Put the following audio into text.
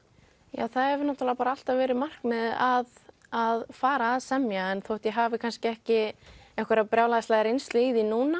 já það hefur alltaf verið markmiðið að að fara að semja en þótt ég hafi kannski ekki einhverja brjálæðislega reynslu í því núna